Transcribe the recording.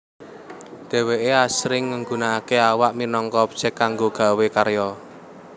Dhèwèké asring nggunakaké awak minangka objèk kanggo gawé karyané